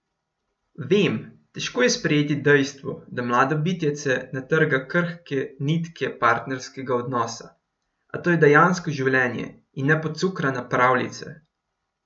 Vem, težko je sprejeti dejstvo, da mlado bitjece natrga krhke nitke partnerskega odnosa, a to je dejansko življenje in ne pocukrana pravljica.